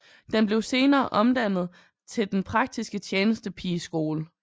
Den blev senere omdannet til Den Praktiske Tjenestepigeskole